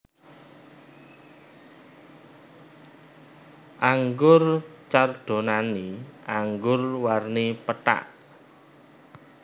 Anggur Chardonnay anggur warni pethak